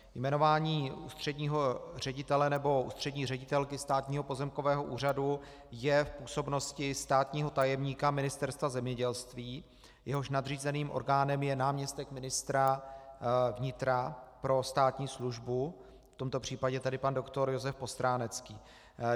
Jmenování ústředního ředitele nebo ústřední ředitelky Státního pozemkového úřadu je v působnosti státního tajemníka Ministerstva zemědělství, jehož nadřízeným orgánem je náměstek ministra vnitra pro státní službu, v tomto případě tedy pan doktor Josef Postránecký.